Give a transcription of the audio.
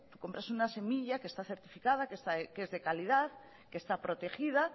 compras unas semillas que está certificada que es de calidad que está protegida